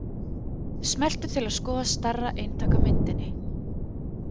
Smelltu til að skoða stærra eintak af myndinni.